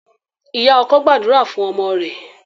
Ìyá ọkọ gbàdúrà fún ọmọ rẹ̀.